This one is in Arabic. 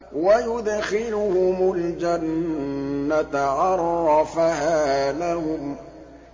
وَيُدْخِلُهُمُ الْجَنَّةَ عَرَّفَهَا لَهُمْ